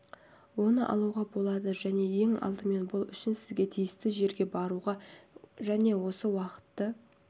оны алуға болады және ең алдымен бұл үшін сізге тиісті жерге баруға және осы уақытты